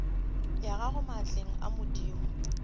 ya gago maatleng a madimo